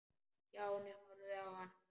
Stjáni horfði á hann.